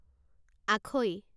আখৈ